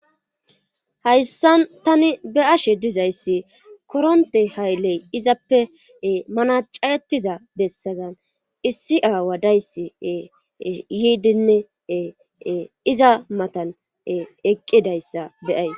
hayssan tani be'ashe dizayssi koronte haylley izappe manaca'etiza bessazan issi aawa dayss yiidinne iza matan eqqidayssa beyayis